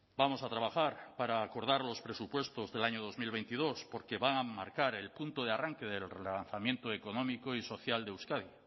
vamos a trabajar para acordar los presupuestos del año dos mil veintidós porque van a marcar el punto de arranque del relanzamiento económico y social de euskadi